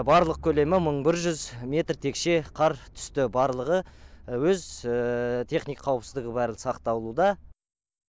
барлық көлемі мың бір жүз метр текше қар түсті барлығы өз техника қауіпсіздігі бәрі сақталуда